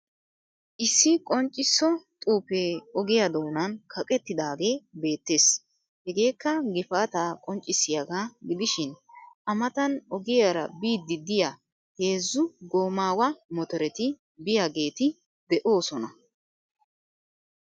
Issi qonccisso xuufee ogiya doonan kaqettidaagee beettees. Hegeekka gifaata qonccissiyaaga gidishin, A matan ogiyaara biidi diya heezzu goommawa motoreti biyageeti de'oosona.